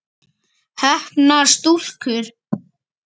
Heppnar stúlkur?